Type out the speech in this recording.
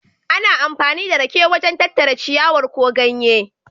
Ana amfani da rake wajen tattara ciyawar ko ganye.